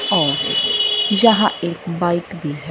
और जहां एक बाइक भी है।